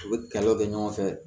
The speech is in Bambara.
U bɛ kɛlɛw kɛ ɲɔgɔn fɛ